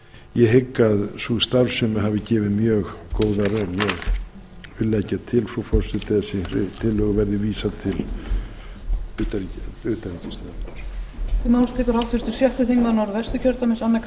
ég hygg að sú starfsemi hafi gefið mjög góða raun ég vil leggja til frú forseti að þessari tillögu verði vísað til utanríkisnefndar